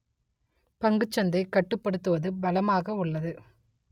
பங்குச் சந்தை கட்டுப்படுத்துவது பலமாக உள்ளது